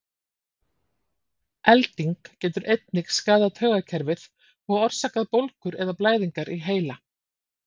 Elding getur einnig skaðað taugakerfið og orsakað bólgur eða blæðingar í heila.